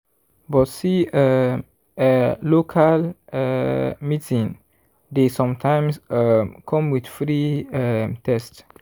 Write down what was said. but see um eh local meeting dey sometimes um come with free um test.